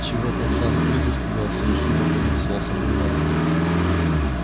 чего пацан крыс испугался ехидно поинтересовался бурбон